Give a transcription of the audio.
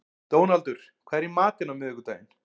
Dónaldur, hvað er í matinn á miðvikudaginn?